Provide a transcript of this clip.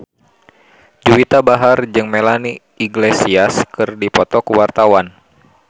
Juwita Bahar jeung Melanie Iglesias keur dipoto ku wartawan